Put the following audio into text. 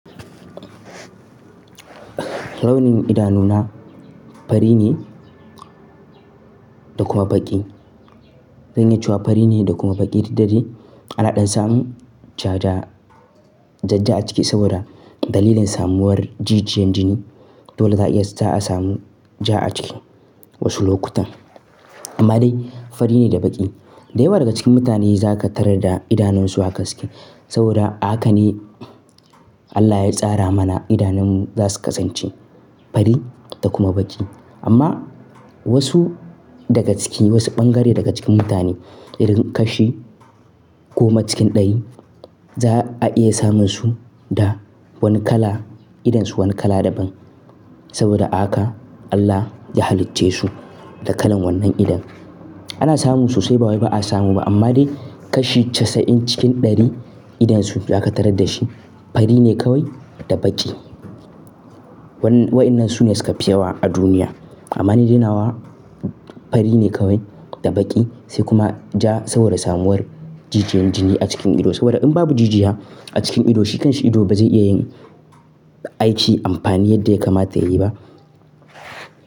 Launin idanuna fari ne da kuma baƙi. Zan iya cewa fari ne da kuma baƙi, duk da dai ana ɗan samun jaja ja-ja a ciki saboda dalilin samuwar jijiyaun jini. Dole za'a iya, za'a samu ja a ciki wasu lokutan. Amma dai fari ne da baƙi. Da yawa daga cikin mutane za ka tarar da idanunsu haka suke. Saboda haka ne Allah ya tsara mana idanunmu za su kasance fari da kuma baƙi. Amma wasu daga ciki, wasu bangare daga cikin mutane idan kashi goma cikin ɗari za'a iya samun su da wani kala, idonsu wani kala daban. Saboda a haka Allah ya halicce su da kalan wannan idon. Ana samun su sai ba wuri ba a samu ba, amma dai kashi casa'in cikin ɗari idonsu za ka tarar da shi fari ne kawai da baƙi. Wa'inan su ne suka fi yawa a duniya. Amma ni dai nawa fari ne kawai da baƙi sai kuma ja saboda samuwar jijiyan jini a cikin ido. Saboda in babu jijiya a cikin ido shi kan shi ido ba zai iya yin aiki amfani yadda ya kamata yayi ba.